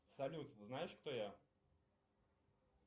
салют знаешь кто я